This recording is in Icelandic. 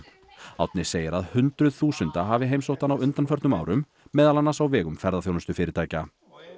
Árni segir að hundruð þúsunda hafi heimsótt hann á undanförnum árum meðal annars á vegum ferðaþjónustufyrirtækja